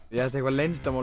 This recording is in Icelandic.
ég ætti eitthvað leyndarmál